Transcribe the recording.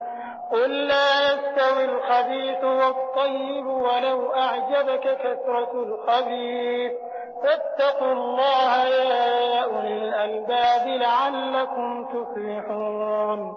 قُل لَّا يَسْتَوِي الْخَبِيثُ وَالطَّيِّبُ وَلَوْ أَعْجَبَكَ كَثْرَةُ الْخَبِيثِ ۚ فَاتَّقُوا اللَّهَ يَا أُولِي الْأَلْبَابِ لَعَلَّكُمْ تُفْلِحُونَ